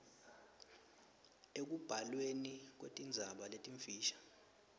ekubhalweni kwetindzaba letimfisha